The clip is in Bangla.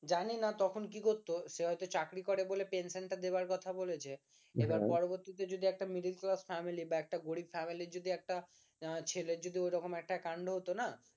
জানি না তখন কি করত সে হয়তো চাকরি করে বলে পেনশন টা দেওয়ার কথা বলেছে এবার পরবর্তীতে যদি একটা middle class family বা একটা গরিব family যদি একটা ছেলে যদি ওরকম একটা কান্ড হতো না